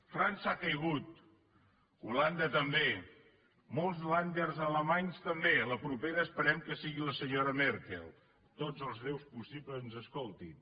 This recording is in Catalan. frança ha caigut holanda també molts länder alemanys també la propera esperem que sigui la senyora merkel tots els déus possibles ens escoltin